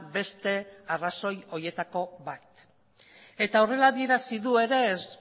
beste arrazoi horietako bat eta horrela adierazi du ere ez